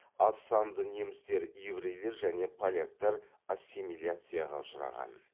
аз санды немістер еврейлер және польяктар ассимилияцияға ұшыраған